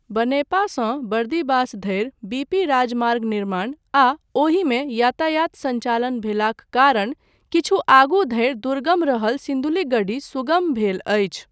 बनेपासँ बर्दिवास धरि बीपी राजमार्ग निर्माण आ ओहिमे यातायात सञ्चालन भेलॉक कारण किछु आगू धरि दुर्गम रहल सिन्धुलीगढी सुगम भेल अछि।